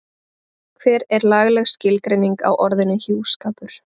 hver er lagaleg skilgreining á orðinu hjúskapur